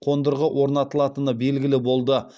қондырғы орнатылатыны белгілі болды